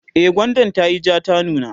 e gwandan tayi jaa ta nuna